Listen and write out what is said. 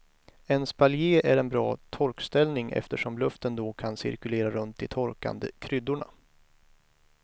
En spaljé är en bra torkställning eftersom luften då kan cirkulera runt de torkande kryddorna.